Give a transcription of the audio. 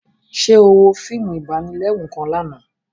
Ṣe o wo fíìmù ibanilẹru kàn lànà?